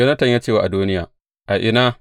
Yonatan ya ce wa Adoniya, A ina!